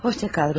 Hoşça kal, Rodiya.